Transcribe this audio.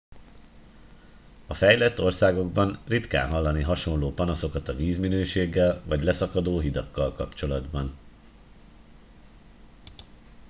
a fejlett országokban ritkán hallani hasonló panaszokat a vízminőséggel vagy leszakadó hidakkal kapcsolatban